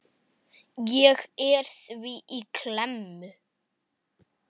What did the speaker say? Ég er því í klemmu.